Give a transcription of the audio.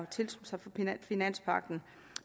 tilslutte sig finanspagten